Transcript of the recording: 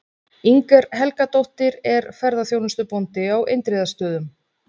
Inger Helgadóttir er ferðaþjónustubóndi á Indriðastöðum.